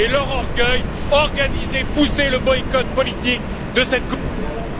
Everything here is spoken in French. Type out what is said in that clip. et leur orgueil, organisez, poussez le boycott politique de cette coupe du monde...